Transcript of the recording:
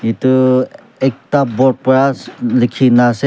edu ekta board pra likhina ase--